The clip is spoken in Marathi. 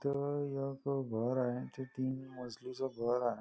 इथे एक घर आहे आणि ते तीन मजली चं घर आहे.